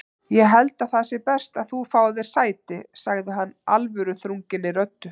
Ég held að það sé best að þú fáir þér sæti sagði hann alvöruþrunginni röddu.